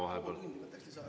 Pool tundi võtaksin lisaaega.